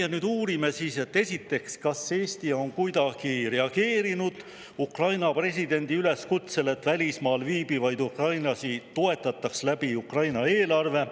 Me nüüd uurime, esiteks, kas Eesti on kuidagi reageerinud Ukraina presidendi üleskutsele, et välismaal viibivaid ukrainlasi toetataks Ukraina eelarvest.